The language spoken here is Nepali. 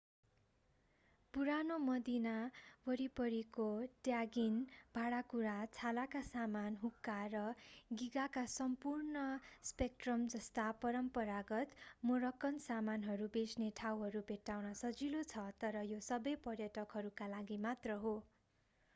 पुरानो मदीना वरिपरिको ट्यागिन भाँडाकुँडा छालाका सामान हुक्का र गिगाका सम्पूर्ण स्पेक्ट्रमजस्ता परम्परागत मोरक्कन सामानहरू बेच्ने ठाउँहरू भेट्टाउन सजिलो छ तर यो सबै पर्यटकहरूका लागि मात्र हो